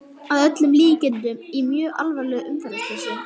Að öllum líkindum í mjög alvarlegu umferðarslysi!